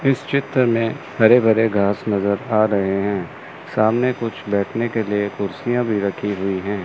इस चित्र में हरे भरे घास नजर आ रहे हैं सामने कुछ बैठने के लिए कुर्सियां भी रखी हुई है।